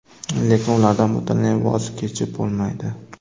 Lekin ulardan butunlay voz kechib bo‘lmaydi.